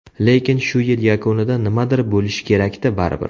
Lekin shu yil yakunida nimadir bo‘lish kerak-da baribir.